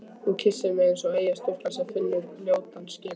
Hún kyssir mig eins og eyjastúlka sem finnur ljótan skip